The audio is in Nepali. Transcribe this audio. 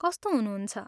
कस्तो हुनुहुन्छ?